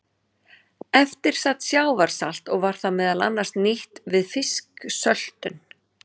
Eftir sat sjávarsalt og var það meðal annars nýtt við fisksöltun.